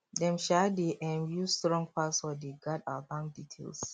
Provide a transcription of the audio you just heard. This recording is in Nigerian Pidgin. dem um dey um use strong password dey guard our bank details